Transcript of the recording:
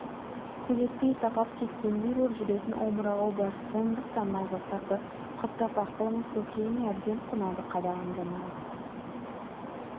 сөйлетпей тапап кеткендей боп жүретін омырауы бар сондықтан майбасарды құптап ақылыңыз көкейіме әбден қонады қадағанда нағыз